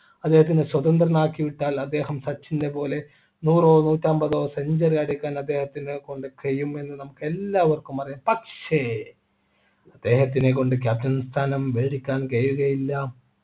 അദ്ദേഹത്തിന് സ്വതന്ത്രനാക്കി വിട്ടാൽ അദ്ദേഹം സച്ചിൻ നെ പോലെ നൂറോ നൂറ്റമ്പതോ century അടിക്കാൻ അദ്ദേഹത്തിനെ കൊണ്ട് കഴിയും എന്നു നമുക്ക് എല്ലാവർക്കും അറിയാം പക്ഷേ അദ്ദേഹത്തിനെ കൊണ്ട് captain സ്ഥാനം ക്കാൻ കഴിയുകയില്ല